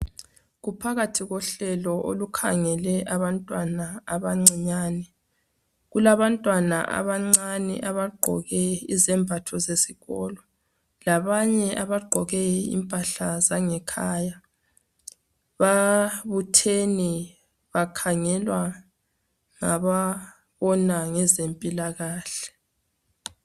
kuphakathi kohlelo olukhangele abantwana abancinyane kulabantwana abancinyane abagqoke izembatho zesikolo labanye abagqoke impahla zangekhaya babuthene bakhangelwa ngababona ngezempilakahle